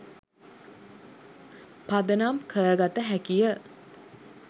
පදනම් කර ගත හැකි ය